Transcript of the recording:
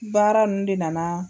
Baara ninnu de nana